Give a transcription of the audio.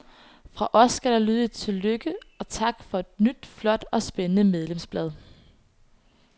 Fra os skal der lyde et tillykke og tak for et nyt, flot og spændende medlemsblad.